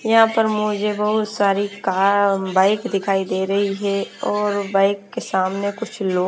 यहाँ पर मुझे बहुत सारी कार बाइक दिखाई दे रही है और बाइक के सामने कुछ लोग --